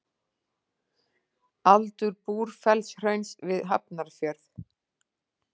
Aldur Búrfellshrauns við Hafnarfjörð.